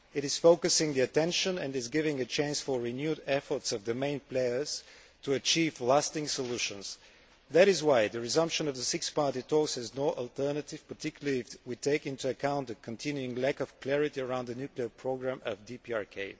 It is focusing attention and is giving a chance for renewed efforts by the main players to achieve lasting solutions. That is why the resumption of the Six Party Talks has no alternative, particularly if we take into account the continuing lack of clarity around the nuclear programmes of DPRK.